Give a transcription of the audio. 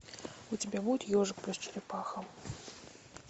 у тебя будет ежик плюс черепаха